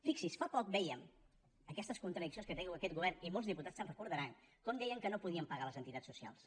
fixi s’hi fa poc vèiem aquestes contradiccions que té aquest govern i molts diputats se’n deuen recordar com deien que no podien pagar a les entitats socials